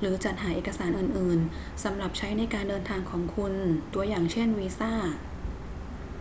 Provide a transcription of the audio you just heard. หรือจัดหาเอกสารอื่น ๆ สำหรับใช้ในการเดินทางของคุณ ตัวอย่างเช่น วีซ่า